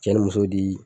Cɛ ni muso di